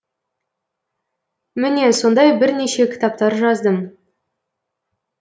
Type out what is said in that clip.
міне сондай бірнеше кітаптар жаздым